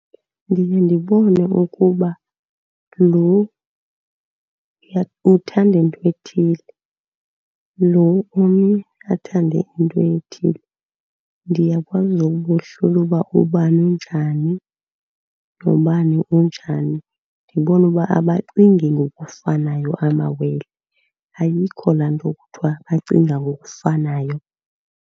Ndiye ndibone ukuba lo uthanda into ethile, lo omnye athande into ethile. Ndiyakwazi ukubohlula uba ubani unjani nobani unjani. Ndibone uba abacingi ngokufanayo amawele. Ayikho laa nto kuthiwa bacinga ngokufanayo.